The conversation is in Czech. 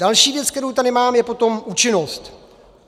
Další věc, kterou tady mám, je potom účinnost.